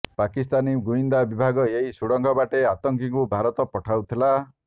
ପାକିସ୍ତାନୀ ଗୁଇନ୍ଦା ବିଭାଗ ଏହି ସୁଡ଼ଙ୍ଗ ବାଟେ ଆତଙ୍କୀଙ୍କୁ ଭାରତ ପଠାଉଥିଲା